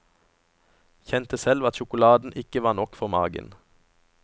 Kjente selv at sjokoladen ikke var nok for magen.